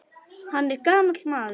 Hann er gamall maður.